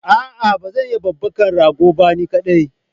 Aa bazan iya babbaka ragon ba ni kadai